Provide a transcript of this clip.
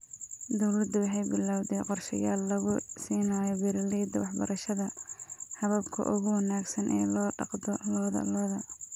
Dawladdu waxay bilawday qorshayaal lagu siinayo beeralayda waxbarashada hababka ugu wanaagsan ee loo dhaqdo lo'da lo'da.